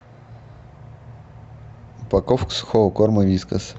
упаковка сухого корма вискас